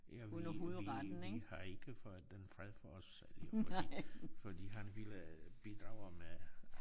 Ja vi vi vi har ikke fået den fred for os selv fordi fordi han ville bidrage med